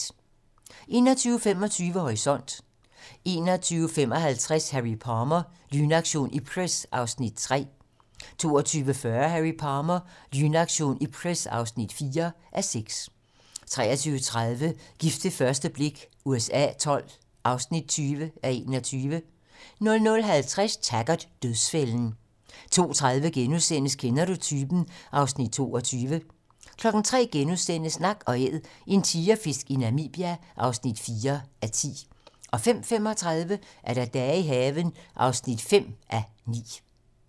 21:25: Horisont (tir) 21:55: Harry Palmer - Lynaktion Ipcress (3:6) 22:40: Harry Palmer - Lynaktion Ipcress (4:6) 23:30: Gift ved første blik USA XII (20:21) 00:50: Taggart: Dødsfælden 02:30: Kender du typen? (Afs. 22)* 03:00: Nak & Æd - en tigerfisk i Namibia (4:10)* 05:35: Dage i haven (5:9)